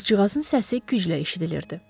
Qızcığazın səsi güclə eşidilirdi.